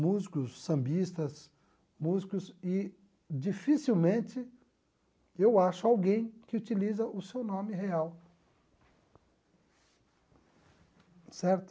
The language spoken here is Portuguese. músicos sambistas, músicos, e dificilmente eu acho alguém que utiliza o seu nome real certo